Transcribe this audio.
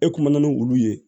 E kuma ni wulu ye